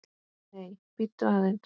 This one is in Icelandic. Nei, bíddu aðeins!